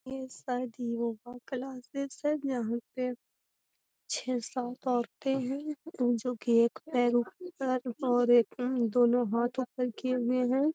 ये शायद yoga classes है यहां पे छे सात औरते हेय जो की एक पैर ऊपर और दोनों हाथ ऊपर किए हुए हैं।